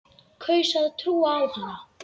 Kaus að trúa á hana.